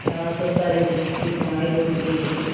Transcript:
यहाँ तो सारे जन्म की कमाई लुट गयी